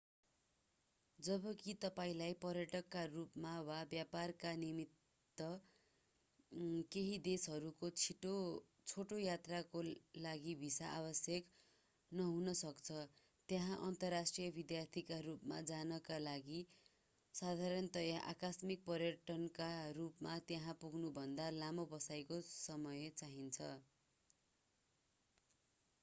जबकि तपाईंलाई पर्यटकका रूपमा वा व्यापारका निमित्त केही देशहरूको छोटो यात्राका लागि भिसा आवश्यक नहुन सक्छ त्यहाँ अन्तर्राष्ट्रिय विद्यार्थीका रूपमा जानका लागि साधारणतया आकस्मिक पर्यटकका रूपमा त्यहाँ पुग्नुभन्दा लामो बसाइको समय चाहिन्छ